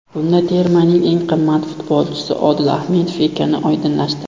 Bunda termaning eng qimmat futbolchisi Odil Ahmedov ekani oydinlashdi.